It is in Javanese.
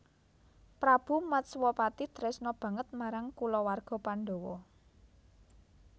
Prabu Matswapati tresna banget marang kulawarga Pandawa